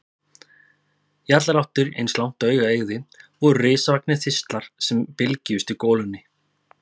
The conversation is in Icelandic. Í allar áttir, eins langt og augað eygði, voru risavaxnir þistlar sem bylgjuðust í golunni.